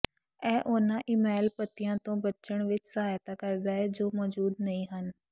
ਇਹ ਉਹਨਾਂ ਈਮੇਲ ਪਤਿਆਂ ਤੋਂ ਬੱਚਣ ਵਿੱਚ ਸਹਾਇਤਾ ਕਰਦਾ ਹੈ ਜੋ ਮੌਜੂਦ ਨਹੀਂ ਹਨ